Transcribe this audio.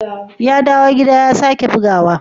Ya dawo gida ya sake buguwa?